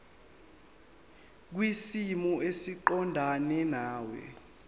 kwisimo esiqondena nawe